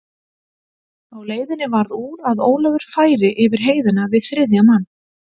Á leiðinni varð úr að Ólafur færi yfir heiðina við þriðja mann.